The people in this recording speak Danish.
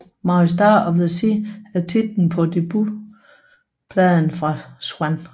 Mary Star of the Sea er titlen på debutpladen fra Zwan